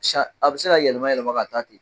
A bɛ se ka yɛlɛma yɛlɛma ka taa ten